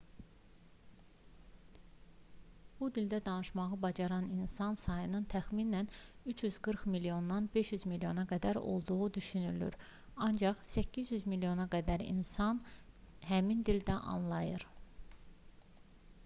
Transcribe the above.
bu dildə danışmağı bacaran insan sayının təxminən 340 milyondan 500 milyona qədər olduğu düşünülür ancaq 800 milyona qədər insan həmin dildə anlayır